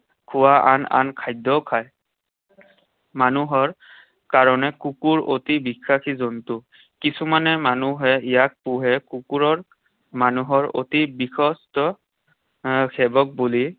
খোৱা আন আন খাদ্যও খায়। মানুহৰ কাৰণে কুকুৰ অতি বিশ্বাসী জন্তু। কিছুমানে মানুহে ইয়াক পোহে। কুকুৰৰ মানুহৰ অতি আহ সেৱক বুলি